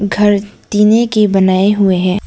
घर टीने के बनाए हुए हैं।